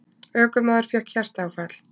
Ökumaður fékk hjartaáfall